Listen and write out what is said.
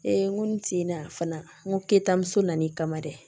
n ko n tin na fana n ko ketamu nana'i kama dɛ